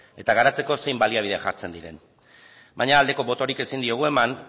eta garatzeko zein baliabide jartzen diren baina aldeko botorik ezin diogu eman